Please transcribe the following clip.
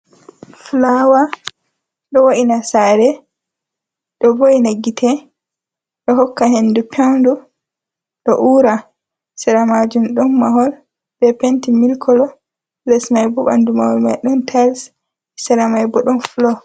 Fulawa ɗo wo’ina sare, ɗo vo’ina gite, ɗo hokka hendu peundu, do ura, sera majum ɗon mahol be penti mili kolo, les mai bo ɓanndu mahol mai ɗon tais, sera mai bo ɗon fulo.